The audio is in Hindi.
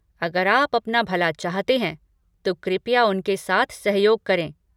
अगर आप अपना भला चाहते हैं, तो कृपया उनके साथ सहयोग करें।